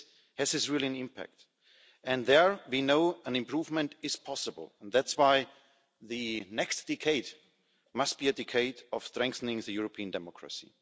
Does it really have an impact? And there we know an improvement is possible, and that's why the next decade must be a decade of strengthening European democracy.